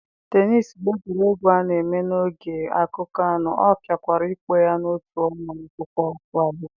tennis bụ egwuregwu a na-eme n'ogige akụkụ anọ, a pụkwara ịkpọ ya n'otu otu ma ọ bụ okpukpu abụọ.